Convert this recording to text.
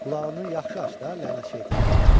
Qulağını yaxşı aç da lənət şeytana.